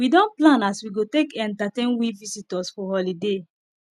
we don plan as we go take entertain we visitors for holiday